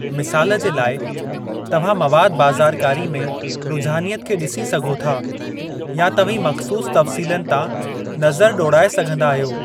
मिसालु जे लाइ, तव्हां मवादु बाज़ारकारी में रुझानियति खे डि॒सी सघो था, या तव्हीं मख़सूसु तफ़्सीलनि तां नज़रु ॾोड़ाए सघिंदा आहियो।